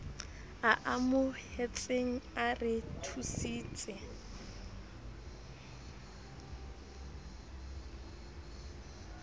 a amohetseng a re thusitse